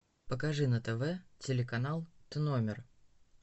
покажи на тв телеканал т номер